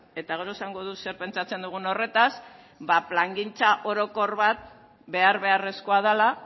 eta gero esango dut zer pentsatzen dugun horretaz ba plangintza orokor bat behar beharrezkoa dela